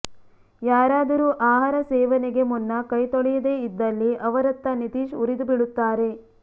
ಯಾರಾದರೂ ಆಹಾರ ಸೇವನೆಗೆ ಮುನ್ನ ಕೈತೊಳೆಯದೆ ಇದ್ದಲ್ಲಿ ಅವರತ್ತ ನಿತೀಶ್ ಉರಿದುಬೀಳುತ್ತಾರೆ